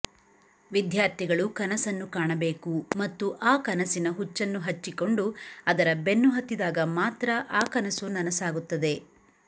ವಿದ್ಯಾರ್ಥಿಗಳು ಕನಸನ್ನು ಕಾಣಬೇಕು ಮತ್ತು ಆ ಕನಸಿನ ಹುಚ್ಚನ್ನು ಹಚ್ಚಿಕೊಂಡು ಅದರ ಬೆನ್ನು ಹತ್ತಿದಾಗ ಮಾತ್ರ ಆ ಕನಸು ನನಸಾಗುತ್ತದೆ